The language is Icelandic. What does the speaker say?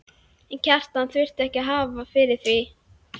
En Kjartan þurfti ekki að hafa fyrir því.